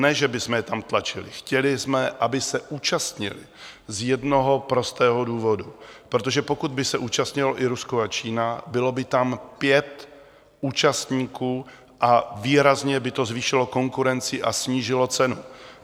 Ne že bychom je tam tlačili, chtěli jsme, aby se účastnili - z jednoho prostého důvodu, protože pokud by se účastnilo i Rusko a Čína, bylo by tam pět účastníků a výrazně by to zvýšilo konkurenci a snížilo cenu.